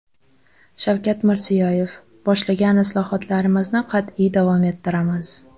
Shavkat Mirziyoyev: Boshlagan islohotlarimizni qat’iy davom ettiramiz.